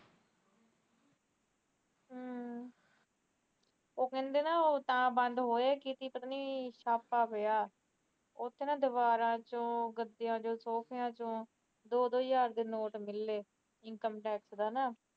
ਉਹ ਕਹਿੰਦੇ ਨਾ ਉਹ ਤਾ ਬੰਦ ਹੋਏ ਸ਼ਾਪਾ ਪਿਆ ਉਥੇ ਨਾ ਦਿਵਾਰਾ ਚੋ ਗੱਦਿਆ ਚੋ ਸੋਫਿਆ ਚੋ ਦੋ ਦੋ ਹਜਾਰ ਦੇ ਨੋਟ ਨਿਕਲੇ